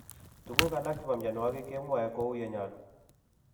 Tuguk alak chebo mianwagik kemwae kou ye nyalu